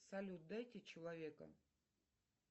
салют дайте человека